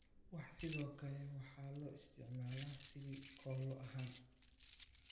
Wax sidoo kale waxaa loo isticmaalaa sidii koollo ahaan